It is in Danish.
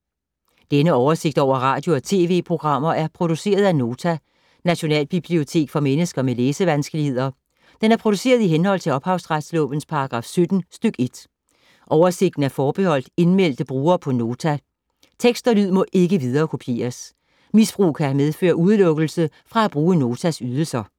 Denne oversigt over radio og TV-programmer er produceret af Nota, Nationalbibliotek for mennesker med læsevanskeligheder. Den er produceret i henhold til ophavsretslovens paragraf 17 stk. 1. Oversigten er forbeholdt indmeldte brugere på Nota. Tekst og lyd må ikke viderekopieres. Misbrug kan medføre udelukkelse fra at bruge Notas ydelser.